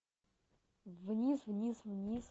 вниз вниз вниз